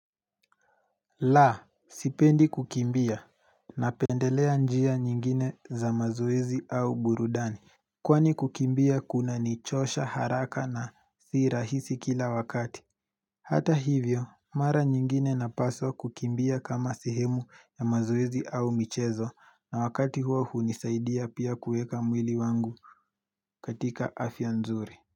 La sipendi kukimbia napendelea njia nyingine za mazoezi au burudani Kwani kukimbia kunanichosha haraka na si rahisi kila wakati Hata hivyo mara nyingine napaswa kukimbia kama sehemu ya mazoezi au michezo na wakati huo hunisaidia pia kuweka mwili wangu katika afya nzuri.